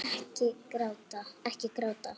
Ekki gráta